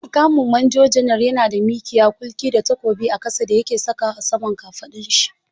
Muƙamin Manjo janar yana da mikiya, kulki da takobi a ƙasa da yake sakawa a saman kafaɗun shi.